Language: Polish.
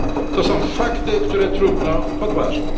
To są fakty, które trudno podważać.